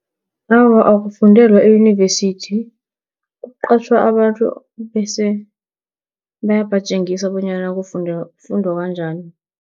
Awa, akufundelwa eyunivesithi, kuqatjhwa abantu bese bayabatjengisa bonyana kufundwa kanjani.